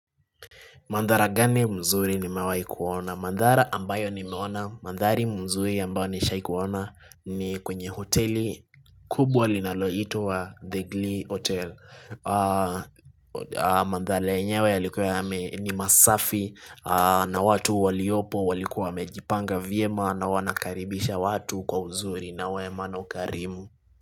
Mandhara gani mzuri ni mawai kuona? Mandhara ambayo ni meona, mandhari mzuri ambayo nishai kuona ni kwenye hoteli kubwa linalo ito wa The Green Hotel. Mandhari enyewe ni masafi na watu waliopo, walikuwa mejipanga vye maa na wanakaribisha watu kwa mzuri na wema na ukarimu.